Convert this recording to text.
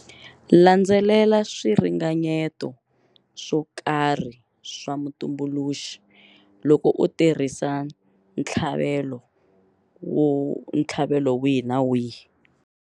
Landzelela swiringanyeto swo karhi swa mutumbuluxi loko u tirhisa ntlhavelo wihi na wihi.